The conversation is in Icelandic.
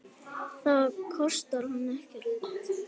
Það kostar hann ekkert.